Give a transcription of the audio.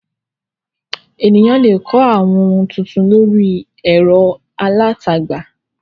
Ènìyàn le kọ́ àwọn ohun tuntun lórí ẹ̀rọ alátagbà.